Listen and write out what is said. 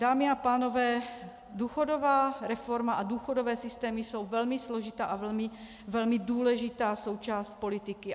Dámy a pánové, důchodová reforma a důchodové systémy jsou velmi složitá a velmi důležitá součást politiky.